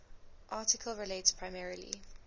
article relates primarily